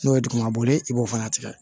N'o ye dugumana boli i b'o fana tigɛ